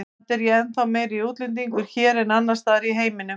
Samt er ég ennþá meiri útlendingur hér en annars staðar í heiminum.